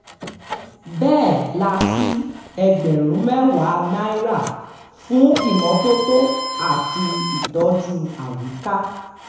bẹ́ẹ̀ la sì ẹgbẹ̀rún mẹ́wàá náírà fún ìmọ́tótó àti ìtọ́jú àyíká